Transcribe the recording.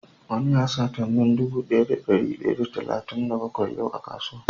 Wani ya sata min dude Daya da dari daya da talatin da bakwai yau a kasuwan.